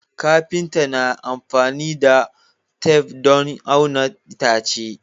Kafinta na amfani da tef don auna itace